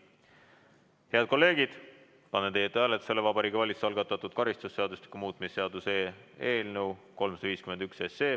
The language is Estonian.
Head kolleegid, panen teie ette hääletusele Vabariigi Valitsuse algatatud karistusseadustiku muutmise seaduse eelnõu 351.